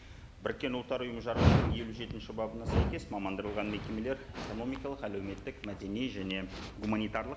біріккен ұлттар ұйымы жарғысының елу жетінші бабына сәйкес мекемелер экономикалық әлеуметтік мәдени және гуманитарлық